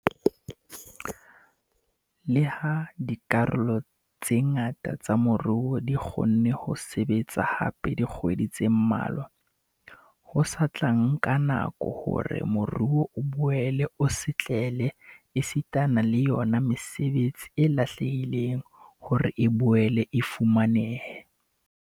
Leha dikarolo tse ngata tsa moruo di kgonne ho sebetsa hape dikgwedi tse mmalwa, ho sa tla nka nako hore moruo o boele o setlele esitana le yona mesebetsi e lahlehileng hore e boele e fumanehe.